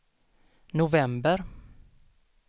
november